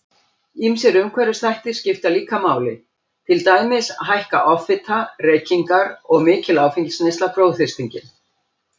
Ýmsir umhverfisþættir skipta líka máli, til dæmis hækka offita, reykingar og mikil áfengisneysla blóðþrýstinginn.